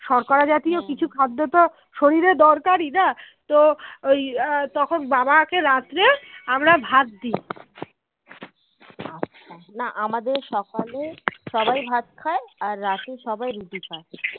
না আমাদের সকালে সবাই ভাত খেয়ে আর রাতে সবাই রুটি খাই